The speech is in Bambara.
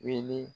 Wele